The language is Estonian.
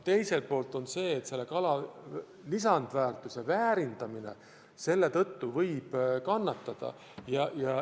Teiselt poolt võib kala lisandväärtus, väärindamine selle tõttu kannatada.